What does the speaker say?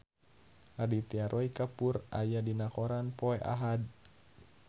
Aditya Roy Kapoor aya dina koran poe Ahad